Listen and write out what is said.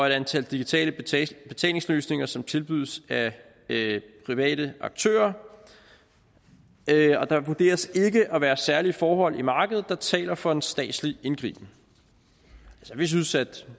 et antal digitale betalingsløsninger som tilbydes af private aktører og der vurderes ikke at være særlige forhold på markedet der taler for en statslig indgriben vi synes